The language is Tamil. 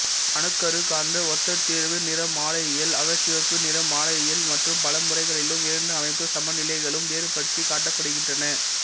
அணுக்கரு காந்த ஒத்ததிர்வு நிறமாலையியல் அகச்சிவப்பு நிறமாலையியல் மற்றும் பலமுறைகளிலும் இரண்டு அமைப்புச் சமநிலைகளும் வேறுபடுத்திக் காட்டப்படுகின்றன